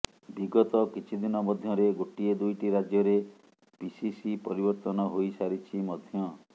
ବିଗତ କିଛି ଦିନ ମଧ୍ୟରେ ଗୋଟିଏ ଦୁଇଟି ରାଜ୍ୟରେ ପିସିସି ପରିବର୍ତ୍ତନ ହୋଇ ସାରିଛି ମଧ୍ୟ